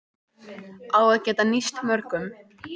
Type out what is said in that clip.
Á að geta nýst mörgum